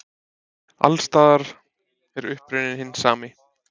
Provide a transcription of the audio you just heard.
Alls staðar er uppruninn hinn sami.